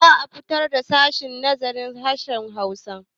Za a sabunta sashen nazarin harshen Hausa.